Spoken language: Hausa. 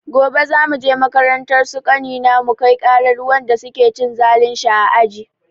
Gobe za muje makarantar su ƙanina mukai ƙarar wanda su ke cin zalin shi a aji.